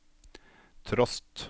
trost